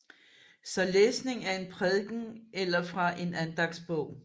Så læsning af en prædiken eller fra en andagtsbog